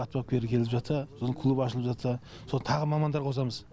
ат бапкері келіп жатса сосын клуб ашылып жатса сосын тағы мамандар қосамыз